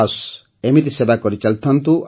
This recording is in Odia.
ବାସ୍ ଏମିତି ସେବା କରିଚାଲିଥାଆନ୍ତୁ